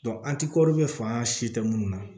an ti faŋaa si tɛ munnu na